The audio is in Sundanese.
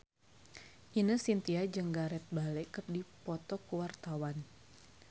Ine Shintya jeung Gareth Bale keur dipoto ku wartawan